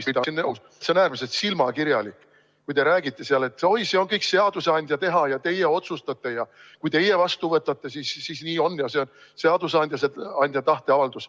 See on äärmiselt silmakirjalik, kui te räägite seal, et oi, see on seadusandja teha ja teie otsustate ja kui teie vastu võtate, siis nii on ja see on seadusandja tahteavaldus.